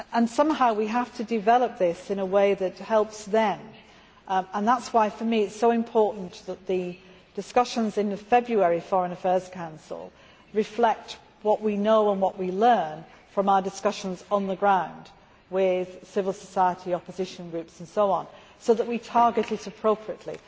Somehow we have to develop this in a way that helps them. That is why, for me, it is so important that the discussions in the February Foreign Affairs Council reflect what we know and what we learn from our discussions on the ground with civil society, opposition groups, and so on, so that we target it appropriately.